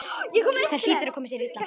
Það hlýtur að koma sér illa.